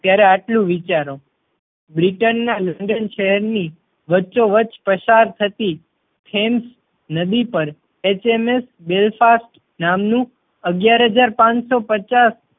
ત્યારે આટલું વિચારો. બ્રિટન ના લંડન શહેર ની વચ્ચો વચ્ચ પસાર થતી ટેમ્સ નદી પર HMS Belfast નામનું અગિયાર હજાર પાંચ સૌ પચાસ